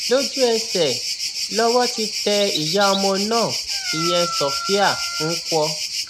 lójúẹsẹ lowó ti tẹ ìyá ọmọ náà ìyẹn sofia nkwọ